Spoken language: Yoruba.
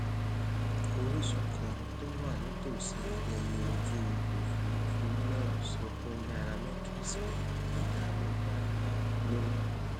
orísun kan tó wà nítòsí ẹyìn ojú òfuurufú náà sọ fún nairametrics pé ìdààmú ńláǹlà ló